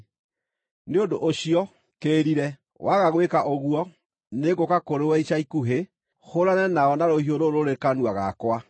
Nĩ ũndũ ũcio, kĩĩrire! Waga gwĩka ũguo, nĩngũũka kũrĩ we ica ikuhĩ, hũũrane nao na rũhiũ rũrũ rũrĩ kanua gakwa.